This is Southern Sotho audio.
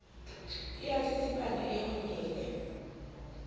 e a tsitsipana e honyele